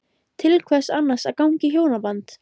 Til hvers annars að ganga í hjónaband?